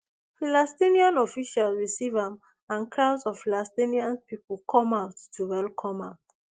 palestinian officials receive am and crowds of palestinians pipo come out to welcome am